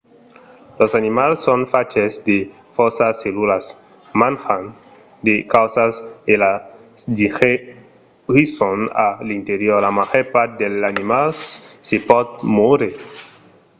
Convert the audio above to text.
los animals son faches de fòrça cellulas. manjan de causas e las digerisson a l'interior. la màger part dels animals se pòt mòure